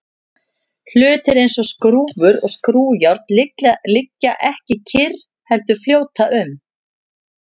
hlutir eins og skrúfur og skrúfjárn liggja ekki kyrr heldur fljóta um